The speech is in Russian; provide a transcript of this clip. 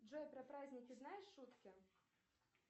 джой про праздники знаешь шутки